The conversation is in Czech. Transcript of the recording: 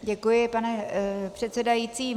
Děkuji, pane předsedající.